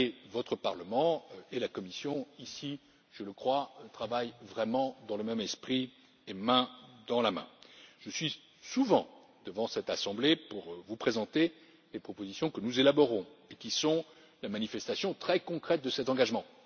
Votre Parlement et la Commission, je le crois, travaillent réellement dans le même esprit et main dans la main. Je suis souvent devant cette Assemblée pour vous présenter les propositions que nous élaborons et qui sont la manifestation très concrète de cet engagement.